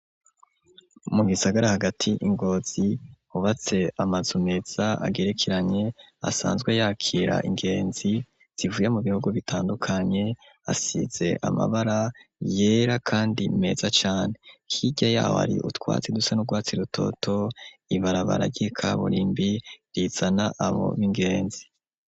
Mugisagara hagati ingozi ubatse amaze umeza agerekeranye asanzwe yakira ingenzi zivuye mu bihugu bitandukanye asize amabara yera, kandi meza cane kirya yawo ari utwatsi dusa n'urwatsi rutoto ibarabaragika burimbie izana abo b'ingenzi.